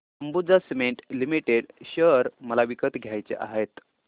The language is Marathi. अंबुजा सीमेंट लिमिटेड शेअर मला विकत घ्यायचे आहेत